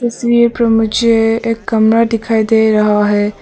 इस तस्वीर पर मुझे एक कमरा दिखाई दे रहा है।